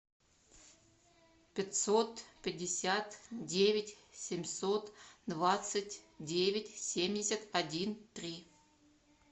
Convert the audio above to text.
пятьсот пятьдесят девять семьсот двадцать девять семьдесят один три